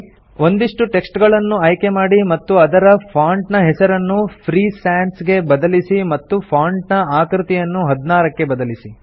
ಒಂದಿಷ್ಟು ಟೆಕ್ಸ್ಟ್ ಗಳನ್ನು ಆಯ್ಕೆ ಮಾಡಿ ಮತ್ತು ಇದರ ಫಾಂಟ್ ನ ಹೆಸರನ್ನು ಫ್ರೀ ಸಾನ್ಸ್ ಗೆ ಬದಲಿಸಿ ಮತ್ತು ಫಾಂಟ್ ನ ಆಕೃತಿಯನ್ನು 16 ಕ್ಕೆ ಬದಲಿಸಿ